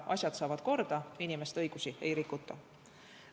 Asjad saavad korda, inimeste õigusi ei rikuta.